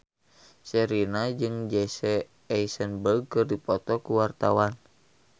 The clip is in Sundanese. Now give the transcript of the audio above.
Sherina jeung Jesse Eisenberg keur dipoto ku wartawan